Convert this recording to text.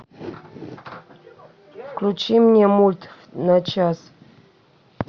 включи мне мульт на час